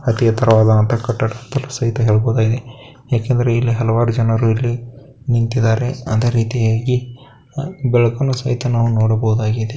ಅತಿ ಎತ್ತರವಾದಂಹ ಕಟ್ಟಡ ಎಂದಲು ಸಹಿತ ಹೇಳಬಹುದಾಗಿದೆ ಏಕೆಂದರೆ ಇಲ್ಲಿ ಹಲವಾರು ಜನರು ಇಲ್ಲಿ ನಿಂತಿದ್ದಾರೆ ಅದೆ ರಿತಿಯಾಗಿ ಬೆ ಬೆಳಕನ್ನು ಸಹಿತ ನಾವು ನೊಡಬಹುದಾಗಿದೆ .